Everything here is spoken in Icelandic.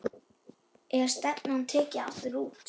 Er stefnan tekin aftur út?